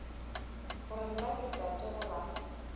gore na ke tate goba